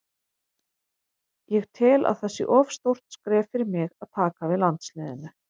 Ég tel að það sé of stórt skref fyrir mig að taka við landsliðinu.